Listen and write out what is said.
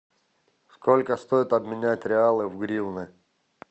сколько стоит обменять реалы в гривны